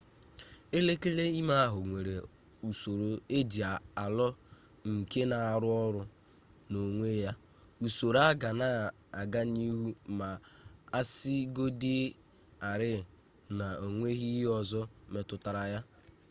elekere ime ahụ nwere usoro eje alọ nke na-arụ ọrụ n'onwe ya usoro a ga na-aga n'ihu ma asịgodị rịị na onweghi ihe ọzọ metụtara ya